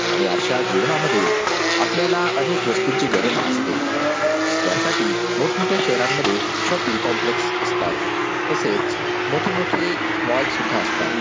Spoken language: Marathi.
आणि अशा जीवनामध्ये आपल्याला अनेक वस्तूंची गरज भासते त्यासाठी मोठमोठ्या शहरांमध्ये शॉपिंग कॉम्प्लेक्स असतात तसेच मोठे मोठे मॉल सुद्धा असतात.